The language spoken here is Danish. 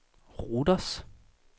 Rhodos